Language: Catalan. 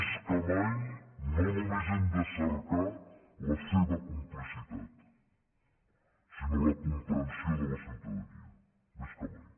més que mai no només hem de cercar la seva complicitat sinó la comprensió de la ciutadania més que mai